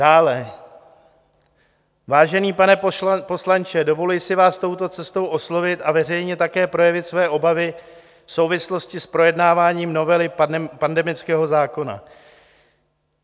Dále: Vážený pane poslanče, dovoluji si vás touto cestou oslovit a veřejně také projevit své obavy v souvislosti s projednáváním novely pandemického zákona.